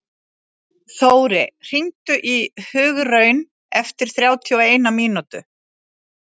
Þóri, hringdu í Hugraun eftir þrjátíu og eina mínútur.